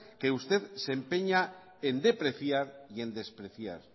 que usted se empeña en depreciar y en despreciar